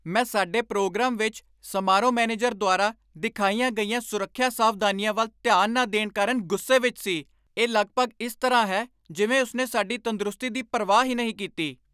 ਮੈਂ ਸਾਡੇ ਪ੍ਰੋਗਰਾਮ ਵਿੱਚ ਸਮਾਰੋਹ ਮੈਨੇਜਰ ਦੁਆਰਾ ਦਿਖਾਈਆਂ ਗਈਆਂ ਸੁਰੱਖਿਆ ਸਾਵਧਾਨੀਆਂ ਵੱਲ ਧਿਆਨ ਨਾ ਦੇਣ ਕਾਰਨ ਗੁੱਸੇ ਵਿੱਚ ਸੀ। ਇਹ ਲਗਭਗ ਇਸ ਤਰ੍ਹਾਂ ਹੈ ਜਿਵੇਂ ਉਸ ਨੇ ਸਾਡੀ ਤੰਦਰੁਸਤੀ ਦੀ ਪਰਵਾਹ ਹੀ ਨਹੀਂ ਕੀਤੀ!